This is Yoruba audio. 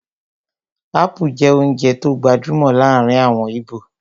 Ápú jẹ́ oúnjẹ tó gbajúmọ̀ láàrin àwọn íbò